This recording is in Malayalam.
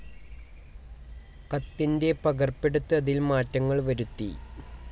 കത്തിൻ്റെ പകർപ്പെടുത്ത് അതിൽമാറ്റങ്ങൾ വരുത്തി